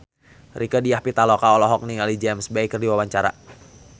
Rieke Diah Pitaloka olohok ningali James Bay keur diwawancara